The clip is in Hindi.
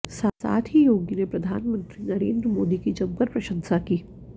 साथ ही योगी ने प्रधानमंत्री नरेंद्र मोदी की जमकर प्रशंसा की